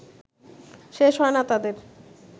শেষ হয় না তাদের